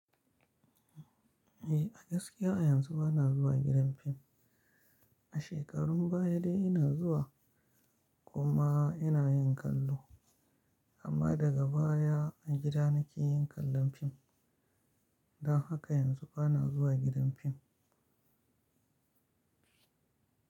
Eh, a gaskiya a yanzu bana zuwa gidan fim. A shekarun baya dai ina zuwa kuma ina yin kallo amma daga baya a gida nake yin kallon fim. Don haka yanzu bana zuwa gidan fim.